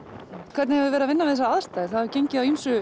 hvernig hefur verið að vinna við þessar aðstæður það hefur gengið á ýmsu